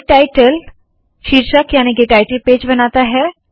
make title प्रमुख याने के टाइटल पेज बनाता है